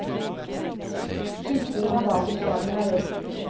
Styrking av basisfagene er ett stikkord.